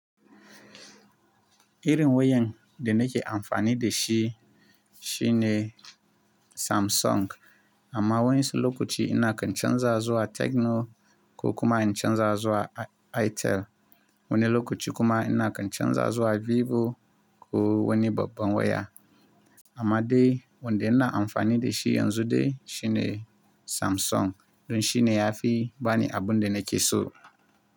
Irin wayan da nake amfani da shi shine samsung amma waensu lokaci ina kan canza zuwa tecno, ko kuma in canza suwa itel. Wani lokaci kuma ina kyanja zuwa Vivo ko wani babban waya. Amma dai wanda ina amfani da shi yanzu de shine Samsung don shine yafi bani abun da nake so.